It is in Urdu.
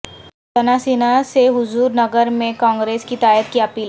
جناسینا سے حضورنگر میں کانگریس کی تائید کی اپیل